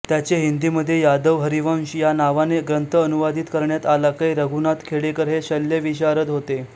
त्याचे हिंदीमध्ये यादवहरिवंश या नावाने ग्रंथ अनुवादित करण्यात आला कै रघुनाथराव खेडेकर हे शल्यविशारद होते